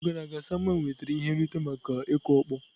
N'afọ gara aga Samuel nwetara ihe nrite maka ịkụ ọkpọ.